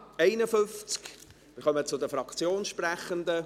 Wir kommen zu den Fraktionssprechenden.